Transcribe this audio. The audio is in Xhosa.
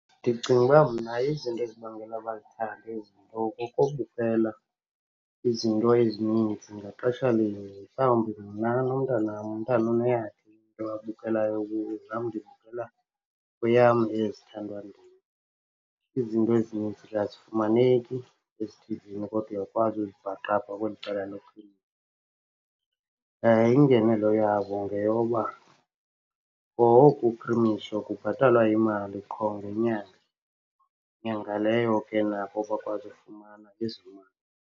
Ndicinga uba mna ezinto ezibangela bazithande ezinto kukubukela izinto ezininzi ngaxeshalinye. Mhlawumbi mna nomntanam, umntana uneyakhe into abukelayo kuyo, nam ndibukela kweyam ezithandwa ndim. Izinto ezininzi ke azifumaneki ezithivini kodwa uyakwazi uzibhaqa apha kweli cala . Ingenelo yazo ngeyoba kwa oku kubhatalwa imali qho ngenyanga, nyanga leyo ke nabo bakwazi ufumana .